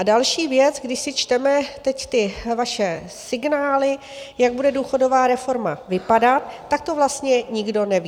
A další věc, když si čteme teď ty vaše signály, jak bude důchodová reforma vypadat, tak to vlastně nikdo neví.